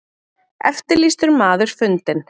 Eftirlýstur maður fundinn